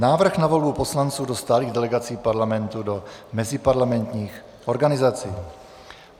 Návrh na volbu poslanců do stálých delegací Parlamentu do meziparlamentních organizací